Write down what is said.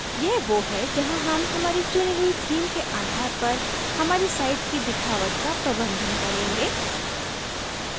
यह वो है जहाँ हम हमारी चुनी हुई theme के आधार पर हमारी site की दिखावट का प्रबंधन करेंगे